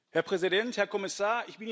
Herr Präsident, Herr Kommissar!